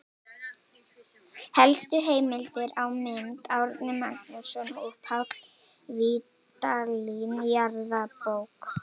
Helstu heimildir og mynd: Árni Magnússon og Páll Vídalín, Jarðabók.